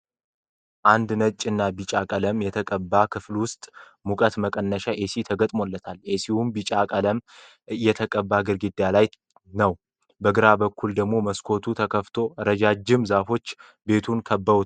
አንድ ነጭ እና ቢጫ ቀለም የተቀባ ክፍል ውስጥ ሙቀት መቀነሻ ኤሲ ተገጥሞለታል ። ኤሲውም ቢጫ ቀለም እተቀባው ግድግዳ ላይ ነው ። በግራ በኩል ደግሞ መስኮቱ ተከፈቶ እረጃጅም ዛፎች ቤቱን ከበውታል ።